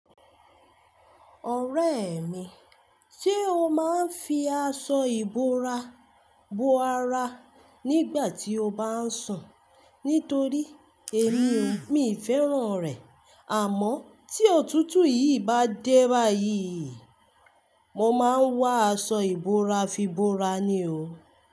Ọ̀rẹ́ mi, ṣé o máa ń fi aṣọ ìbora bo ara nígbà tí o bá ń sùn? Nítorí èmi o, mì í fẹ́ràn rẹ̀. Àmọ́ tí òtútù yìí bá dé báyìí, mo máa ń wa aṣọ ìbora fi bora ni o.